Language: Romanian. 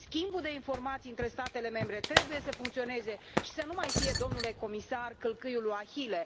Schimbul de informații între statele membre trebuie să funcționeze și să nu mai fie, domnule comisar, călcâiul lui Ahile.